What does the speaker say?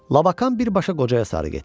Labakan birbaşa qocaya sarı getdi.